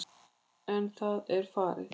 En það er farið.